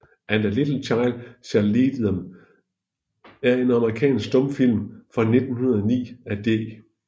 And a Little Child Shall Lead Them er en amerikansk stumfilm fra 1909 af D